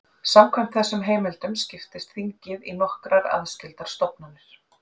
Samkvæmt þessum heimildum skiptist þingið í nokkrar aðskildar stofnanir.